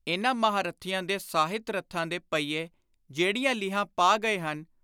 ਇਨ੍ਹਾਂ ਮਹਾਂਰਥੀਆਂ ਦੇ ਸਾਹਿਤ-ਰਥਾਂ ਦੇ ਪਹੀਏ ਜਿਹੜੀਆਂ ਲੀਹਾਂ ਪਾ ਗਏ ਹਨ,